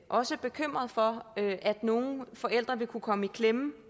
også bekymret for at nogle forældre vil kunne komme i klemme i